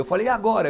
Eu falei, e agora?